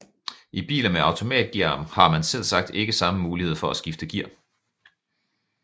I biler med automatgear har man selvsagt ikke samme mulighed for at skifte gear